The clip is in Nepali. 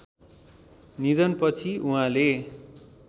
निधनपछि उहाँले